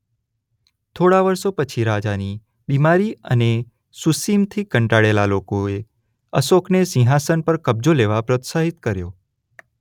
થોડા વર્ષો પછી રાજાની બિમારી અને સુસિમથી કંટાળેલ લોકોએ અશોકને સિંહાસન પર કબ્જો લેવા પ્રોત્સાહિત કર્યો.